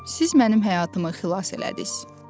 Siz mənim həyatımı xilas elədiz.